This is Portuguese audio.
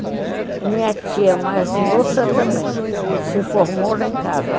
E a minha tia mais moça também se formou lá em casa.